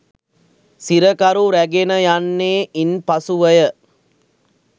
සිරකරු රැගෙන යන්නේ ඉන් පසුවය.